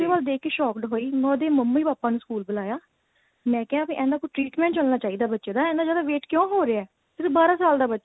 ਉਹਦੇ ਵੱਲ ਦੇਖ ਕੇ shocked ਹੋਈ ਮੈਂ ਉਹਦੇ mummy papa ਨੂੰ school ਬੁਲਾਇਆ ਮੈਂ ਕਿਹਾ ਕੀ ਇਹਦਾ ਕੋਈ treatment ਚੱਲਣਾ ਚਾਹੀਦਾ ਬੱਚੇ ਦਾ ਇੰਨਾ ਜਿਆਦਾ weight ਕਿਉਂ ਹੋ ਰਿਹਾ ਸਿਰਫ ਬਾਰਾਂ ਸਾਲ ਦਾ ਬੱਚਾ